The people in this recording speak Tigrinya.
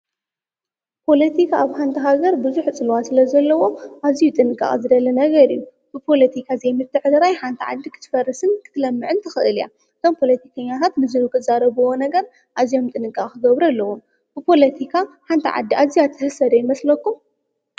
ፖለቲካ ኣብ ሓንቲ ሃገር ቡዙሕ ፅልዋ ስለ ዘለዎ ኣዝዩ ጥንቃቀ ዝደሊ ነገር እዩ፡፡ ፖለቲካ ዘይምትዕርራይ ሓንቲ ሃገር ክትፈርስን ክትለምዕን ትክእል እያ፡፡ እቶም ፖለቲከኛታት ንዘይተዛረብዎ ነገር ኣዝዮም ጥንቃቀ ክገብሩ ኣለዎም፡፡ ብፖለቲካ ሓንቲ ዓዲ ኣዝያ ዶ ትህሰ ይመስለኩም?